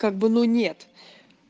как бы ну нет